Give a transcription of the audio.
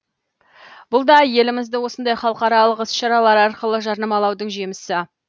бұл да елімізді осындай халықаралық іс шаралар арқылы жарнамалаудың жемісі